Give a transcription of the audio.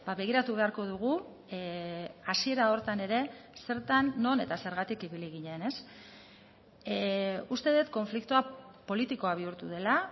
begiratu beharko dugu hasiera horretan ere zertan non eta zergatik ibili ginen uste dut konfliktoa politikoa bihurtu dela